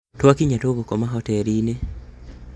Twakinya tũgũkoma hoteliĩnĩ